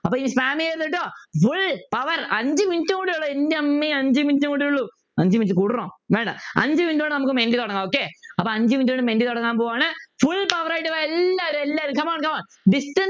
അപ്പൊ ഇനി spam ചെയ്യരുത് ട്ടോ Full power അഞ്ചു minute കൂടിയേ ഉള്ളു എൻ്റെമ്മെ അഞ്ചു minute കൂടിയേ ഉള്ളു അഞ്ചു minute കൂട്ടണോ വേണ്ട അഞ്ചു minute കൊണ്ട് നമുക്ക തുടങ്ങാം okay അപ്പൊ അഞ്ചു minute കൊണ്ട് തുടങ്ങാൻ പോവ്വാണ് Full power ആയിട്ടു വാ എല്ലാരും എല്ലാരും come on come on distance